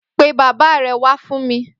Pé bàbá rè wà fún mi